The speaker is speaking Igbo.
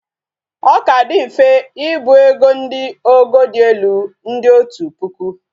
o Ka di mfe ibu ego ndi ogo di elu ndi otu puku